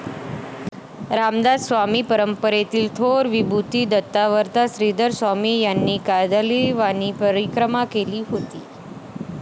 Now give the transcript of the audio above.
रामदासी परंपरेतील थोर विभूती दत्तावतार श्रीधरस्वामी यांनीही कार्दालीवानाही परिक्रमा केली होती.